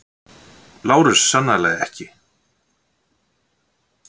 LÁRUS: Sannarlega ekki!